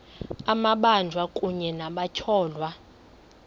amabanjwa kunye nabatyholwa